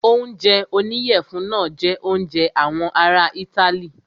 Oúnjẹ oníyẹ̀fun náà jẹ oúnjẹ àwọn ará itály.